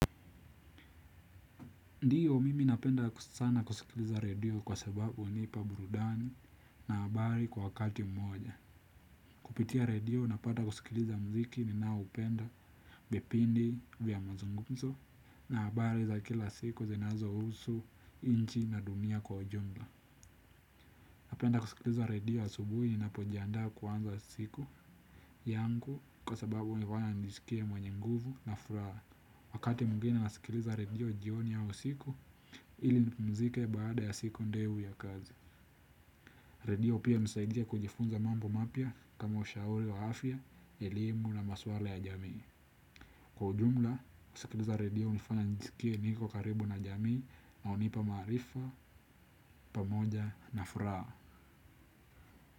Ndiyo mimi napenda sana kusikiliza redio kwa sababu hunipa burudani na habari kwa wakati mmoja. Kupitia redio napata kusikiliza muziki ninaoupenda, vipindi vya mazungumzo na habari za kila siku zinazohusu, nchi na dunia kwa ujumla. Napenda kusikiliza redio asubuhi ninapojiandaa kuanza siku yangu kwa sababu hunifanya nijisikie mwenye nguvu na furaha. Wakati mwengine nasikiliza redio jioni ya usiku ili nipumzike baada ya siku ndefu ya kazi. Redio pia hunisaidia kujifunza mambo mapya kama ushauri wa afya, elimu na maswala ya jamii. Kwa ujumla, kusikiliza redio hunifanya nijisikie niko karibu na jamii na hunipa maarifa, pamoja na furaha.